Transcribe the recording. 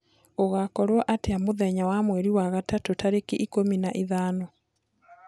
gugakorwo atĩa mũthenya wa mwerĩ wa gatatu tarĩkĩ ikumi na ithano